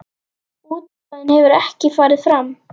Útboð hefur ekki farið fram.